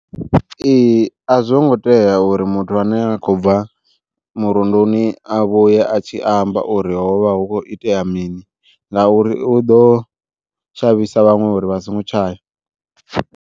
Ee a zwo ngo tea uri muthu ane a khou bva murunduni a vhuye a tshi amba uri hovha hu khou itea mini, ngauri u ḓo shavhisa vhaṅwe uri vha songo tshaya.